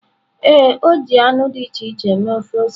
Ee, o ji anụ dị iche iche mee ofe ose.